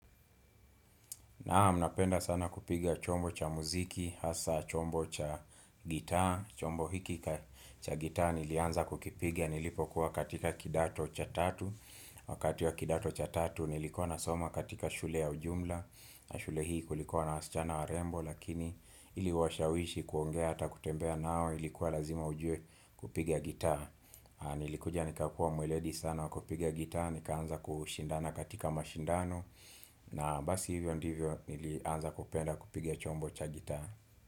Naam napenda sana kupiga chombo cha muziki, hasa chombo cha gitaa, chombo hiki cha gitaa nilianza kukipigia nilipokuwa katika kidato cha tatu. Wakati wa kidato cha tatu nilikuwa nasoma katika shule ya ujumla na shule hii kulikuwa na wasichana warembo lakini ili uwashawishi kuongea hata kutembea nao ilikuwa lazima ujue kupigia gitaa. Nilikuja nikakua mweledi sana wa kupiga gitaa Nikaanza kushindana katika mashindano na basi hivyo ndivyo nilianza kupenda kupiga chombo cha gitaa.